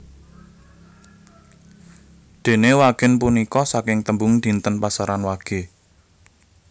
Dene wagèn punika saking tembung dinten pasaran wage